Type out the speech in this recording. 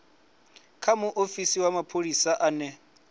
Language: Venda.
kha muofisi wa mapholisa ane